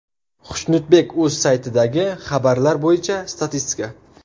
Xushnudbek.uz saytidagi xabarlar bo‘yicha statistika.